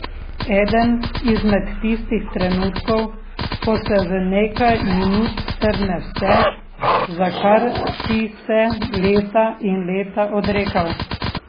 Eden izmed tistih trenutkov, ko se v nekaj minut strne vse, za kar si se leta in leta odrekal.